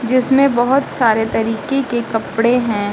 जिसमें बहुत सारे तरीके के कपड़े हैं।